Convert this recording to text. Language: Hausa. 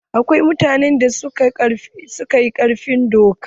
Akwai mutanen da suka fi ƙarfin doka.